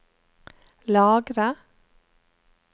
lagre